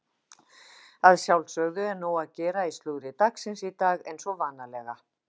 Að sjálfsögðu er nóg að gera í slúðri dagsins í dag eins og vanalega.